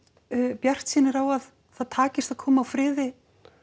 bjartsýnir á að það takist að koma á friði